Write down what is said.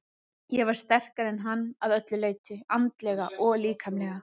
Ég var sterkari en hann að öllu leyti, andlega og líkamlega.